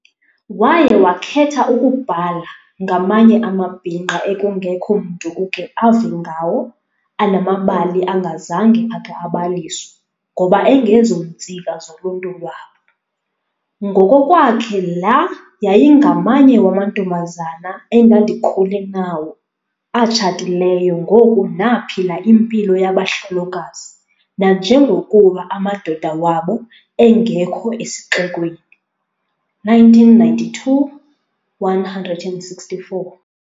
Waye wakhetha ukubhala "ngamanye amabhinqa ekungekho mntu uke ave ngawo, anamabali angazange ake abaliswa ngoba 'engezontsika' zoluntu lwabo". Ngokokwakhe la "yayingamanye wamantombazana endandikhule nawo, atshatileyo ngoku naphila impilo yabahlolokazi nanjengokuba amadoda wabo angekho esixekweni", 1992:164.